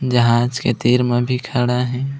जहाज के तिर म भी खड़ा हे।